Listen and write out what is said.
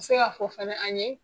I bi se ka fɔ fana an ye